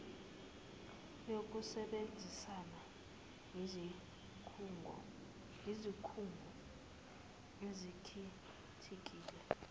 yokusebenzisana yezikhungo ezikhethekile